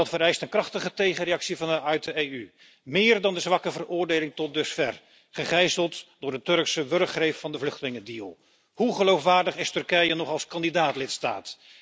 Dat vereist een krachtige tegenreactie vanuit de EU, meer dan de zwakke veroordeling tot dusver, gegijzeld door de Turkse wurggreep van de vluchtelingendeal. Hoe geloofwaardig is Turkije nog als kandidaat lidstaat?